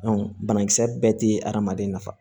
banakisɛ bɛɛ tɛ adamaden nafa